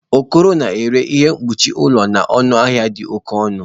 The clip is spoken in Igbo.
Okoro na-ere ihe mkpuchi ụlọ na ọnụ ahịa dị oke ọnụ